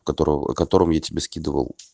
которого котором я тебе скидывал